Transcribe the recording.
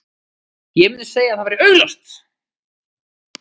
Ég myndi segja að það væri augljóst.